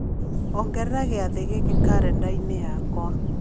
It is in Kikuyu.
ongerera gĩathĩ gĩkĩ karenda-inĩ yakwa